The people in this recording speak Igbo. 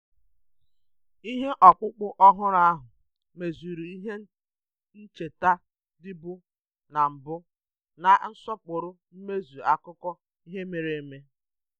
um Nrụnye ihe ọkpụkpụ ọhụrụ ahụ kwadoro ihe ncheta dị adị na-asọpụrụ um mmezu akụkọ um ihe ihe mere eme